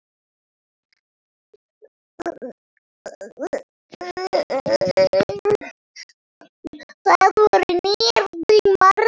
Það voru nýir tímar.